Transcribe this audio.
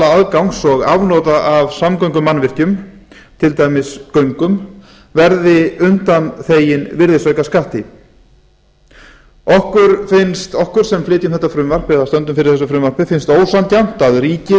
aðgangs og afnota af samgöngumannvirkjum til dæmis göngum verði undanþegin virðisaukaskatt okkur sem flytjum þetta frumvarp eða stöndum fyrir þessu frumvarpi finnst ósanngjarnt að ríkið